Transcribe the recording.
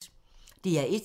DR1